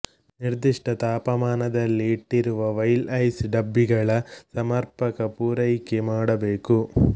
ನಿರ್ದಿಷ್ಟ ತಾಪಮಾನದಲ್ಲಿ ಇಟ್ಟಿರುವ ವೈಲ್ ಐಸ್ ಡಬ್ಬಿಗಳ ಸಮರ್ಪಕ ಪೂರೈಕೆ ಮಾಡಬೇಕು